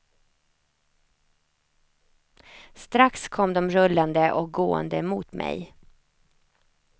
Strax kom de rullande och gående mot mig.